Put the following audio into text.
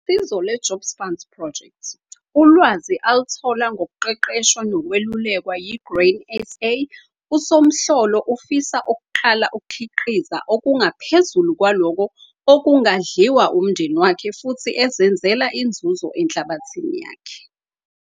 Ngosizo lwe-Jobs Funds Project, uwazi aluthola ngokuqeqeshwa nokwelulekwa yi-Grain SA - USomhlolo ufisa ukuqala ukukhiqiza okungaphezulu kwalokho okungadliwa umndeni wakhe futhi ezenzela inzuzo enhlabathini yakhe.